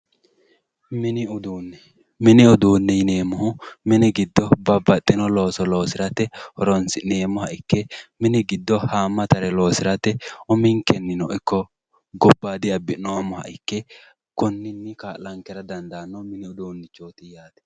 Mini uduune yineemmohu mini giddo babbaxino looso loosirate horonsi'neemmoha ikke mini giddo hamatare loosirate uminkeninno ikko gobbadi abbi'noommoha ikke konninni kaa'lanonke mini uduunichoti yaate.